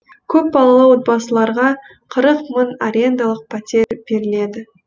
көпбалалы отбасыларға қырық мың арендалық пәтер беріледі